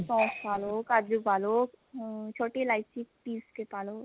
ਸੋਂਫ ਪਾ ਲੋ ਕਾਜੂ ਪਾ ਲੋ ਅਮ ਛੋਟੀ ਇਲਾਚੀ ਪੀਸ ਕੇ ਪਾ ਲੋ